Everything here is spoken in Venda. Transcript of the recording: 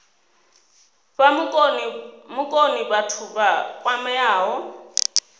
fha vhukoni vhathu vha kwameaho